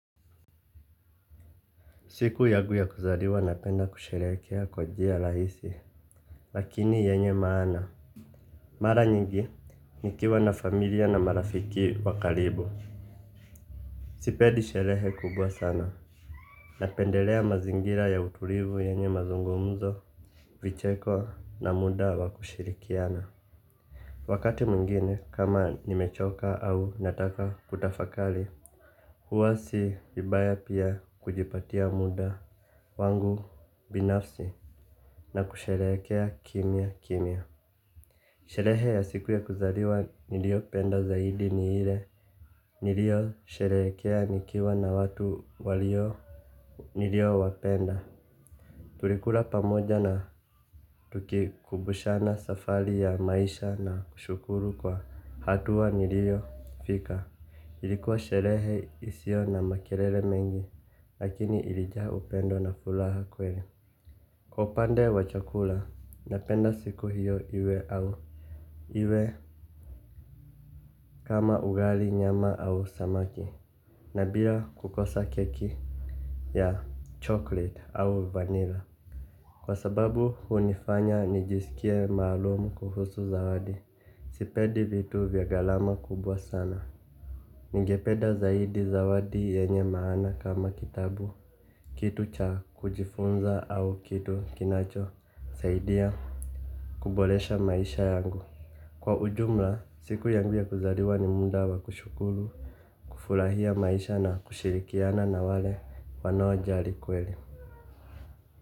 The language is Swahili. Siku yangu ya kuzaliwa napenda kusherehekea kwa njia rahiisi lakini yenye maana. Mara nyingi nikiwa na familia na marafiki wa karibu sipendi sherehe kubwa sana. Napendelea mazingira ya utulivu yenye mazungumuzo vicheko na muda wa kushirikiana. Wakati mwingine kama nimechoka au nataka kutafakali huwa si vibaya pia kujipatia muda wangu binafsi na kusherehekea kimya kimya. Sherehe ya siku ya kuzaliwa nilio penda zaidi ni ile nilio sherehekea nikiwa na watu walio nilio wapenda. Tulikula pamoja na tukikumbushana safari ya maisha na kushukuru kwa hatua nilio fika. Ilikuwa sherehe isiyo na makelele mengi. Lakini ilijaa upendo na furaha kweli kwa upande wa chakula, napenda siku hiyo iwe au iwe kama ugali nyama au samaki, na bila kukosa keki ya chocolate au vanilla. Kwa sababu hunifanya nijisikie maalumu kuhusu zawadi, sipedi vitu vya gharama kubwa sana. Ningependa zaidi zawadi yanye maana kama kitabu, kitu cha kujifunza au kitu kinacho, saidia kuboresha maisha yangu. Kwa ujumla, siku yangu ya kuzaliwa ni muda wa kushukuru, kufurahia maisha na kushirikiana na wale wanaojali kweli.